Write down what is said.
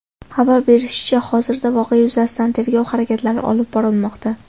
Xabar berishlaricha, hozirda voqea yuzasidan tergov harakatlari olib borilmoqda.